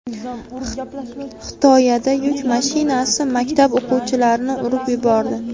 Xitoyada yuk mashinasi maktab o‘quvchilarni urib yubordi.